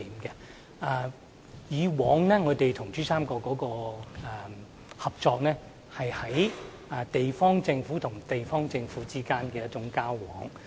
以往我們與珠三角的合作，是地方政府與地方政府之間的交往。